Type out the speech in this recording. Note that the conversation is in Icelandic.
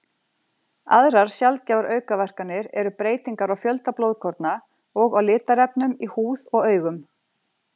Aðrar sjaldgæfar aukaverkanir eru breytingar á fjölda blóðkorna og á litarefnum í húð og augum.